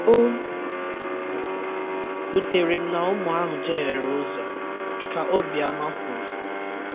“ O wutere m na ụmụ ahụ jeghere ụzo.ka Obiama kwuru